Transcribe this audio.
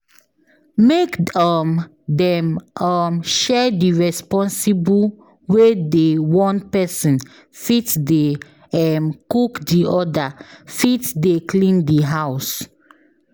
Make um them um share the responsible wey de one pesin fit de um cook the other fit de clean the house